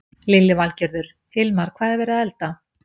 Lillý Valgerður: Hilmar, hvað er verið að elda?